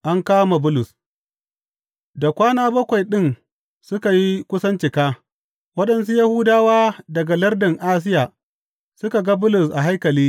An kama Bulus Da kwana bakwai ɗin suka yi kusan cika, waɗansu Yahudawa daga lardin Asiya suka ga Bulus a haikali.